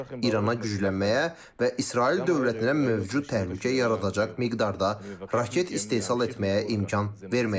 İrana güclənməyə və İsrail dövlətinə mövcud təhlükə yaradacaq miqdarda raket istehsal etməyə imkan verməyəcəyik.